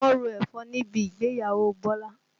Wọ́n ro ẹ̀fọ́ níbi ìgbéyàwó Bọ́lá